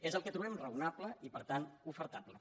és el que trobem raonable i per tant ofertable